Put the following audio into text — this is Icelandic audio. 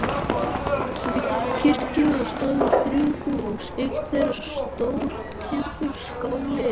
Við kirkjuna stóðu þrjú hús, eitt þeirra stór timburskáli.